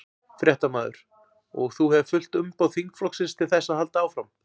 Fréttamaður: Og þú hefur fullt umboð þingflokksins til þess að halda áfram?